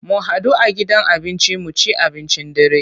Mu hadu a gidan abinci mu ci abincin dare.